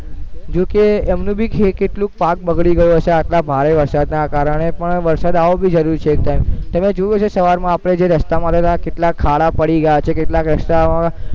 જેકે એમને ભી કેટલુંક પાક બગડી ગયું હશે આટલા ભારે વરસાદના કારણે પણ વરરસાદ આવવો ભી જરૂરી છે અત્યારે તમે જોયું હશે સવારમાં આપણે જે રસ્તામાં હાલેલાં એમાં કેટલાક ખાડા પડી ગયા છે કેટલાક રસ્તા